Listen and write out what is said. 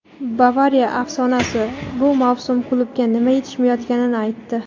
"Bavariya" afsonasi bu mavsum klubga nima yetishmayotganini aytdi;.